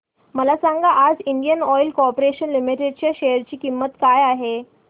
मला सांगा आज इंडियन ऑइल कॉर्पोरेशन लिमिटेड च्या शेअर ची किंमत काय आहे